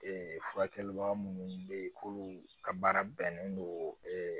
Ee furakɛliba minnu be ye k'olu ka baara bɛnnen don